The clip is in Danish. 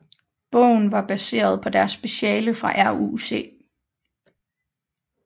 Bogen var baseret på deres speciale fra RUC